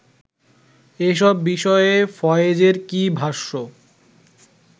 এসব বিষয়ে ফয়েজের কী ভাষ্য